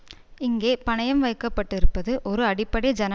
இங்கே பணயம் வைக்க பட்டிருப்பது ஒரு அடிப்படை ஜனநாயகம்